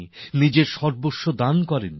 নিজদের সর্বস্ব ত্যাগ করেননি